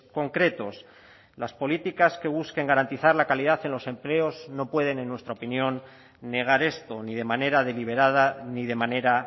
concretos las políticas que busquen garantizar la calidad en los empleos no pueden en nuestra opinión negar esto ni de manera deliberada ni de manera